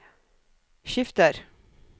skifter